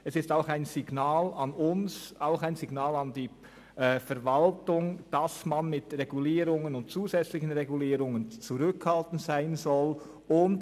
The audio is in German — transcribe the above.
Es ist auch ein Signal an uns und an die Verwaltung, dass man mit Regulierungen und zusätzlichen Regulierungen zurückhaltend sein sollte.